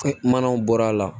Manaw bɔr'a la